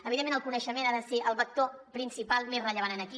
evidentment el coneixement ha de ser el vector principal més rellevant aquí